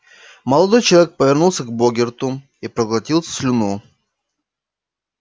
молодой человек повернулся к богерту и проглотил слюну